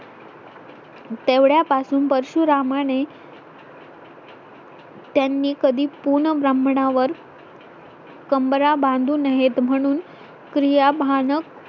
तेवढ्यापासून परशुरामाने त्यांनी कधी पूर्ण ब्राह्मणा वर कंबरा बांधू नयेत म्हणून क्रियाभानक